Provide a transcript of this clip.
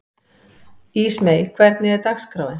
Litla hafmeyjan í Kaupmannahöfn hefur mikið aðdráttarafl.